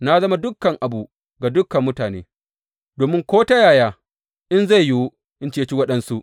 Na zama dukan abu ga dukan mutane, domin ko ta yaya in zai yiwu, in ceci waɗansu.